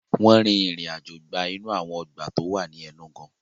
Wọ́n rin ìrìn àjò gba inú àwọn ọgbà tó wà ní Enugu